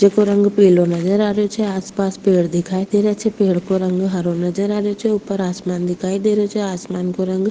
जेको रंग पीलो नजर आ रेहो छे आस पास पेड़ नजर आ रेहो छे पेड़ को रंग हरो नजर आ रेहो छे ऊपर आसमान दिखाई दे रेहो छे आसमान को रंग --